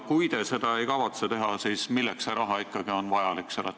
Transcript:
Kui te seda ei kavatse teha, siis milleks see summa ikkagi vajalik on?